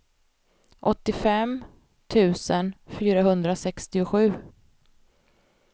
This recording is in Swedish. åttiofem tusen fyrahundrasextiosju